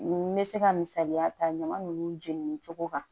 N bɛ se ka misaliya ta ɲama nunnu jeni cogo kan